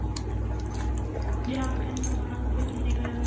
ਜੇ half time ਲਗਾਨਾ ਹੋਵੇ ਫੇਰ ਕਿੰਨੇ ਕ